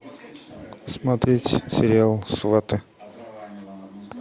смотреть сериал сваты